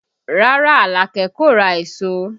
Rárá, Alake kò ra èso